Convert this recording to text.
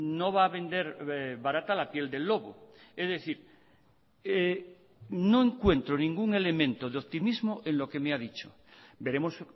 no va a vender barata la piel del lobo es decir no encuentro ningún elemento de optimismo en lo que me ha dicho veremos